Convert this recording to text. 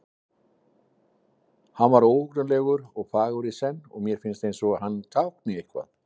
Hann var óhugnanlegur og fagur í senn og mér finnst eins og hann tákni eitthvað.